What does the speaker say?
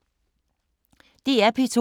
DR P2